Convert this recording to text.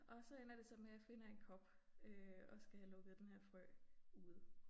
Og så ender det så med jeg finder en kop øh og skal have lukket denne her frø ude